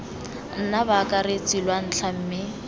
nna baakaretsi lwa ntlha mme